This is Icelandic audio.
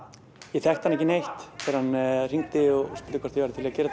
ég þekkti hann ekki neitt þegar hann hringdi og spurði hvort ég væri til í að gera